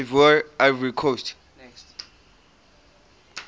ivoire ivory coast